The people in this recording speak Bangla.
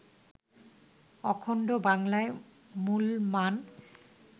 অখণ্ড বাংলায় মুলমান